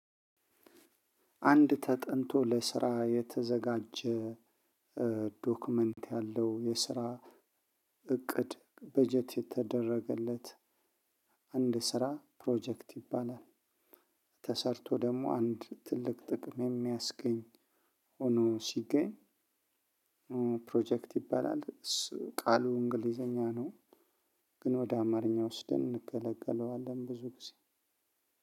አንድ ተጠንቶ ለስራ የተዘጋጀ ዶክመንት ያለው የስራ እቅድ በጀት የተደረገለት አንድ ስራ ፕሮጀክት ይባላል። ተሰርቶ ደግሞ አንድ ትልቅ ጥቅም የሚያስገኝ ሆኖ ሲገኝ ፕሮጀክት ይባላል። ቃሉ እንግሊዘኛ ነው። ግን ወደ አማርኛ ወስደን እንገለገለዋለን ብዙ ጊዜ።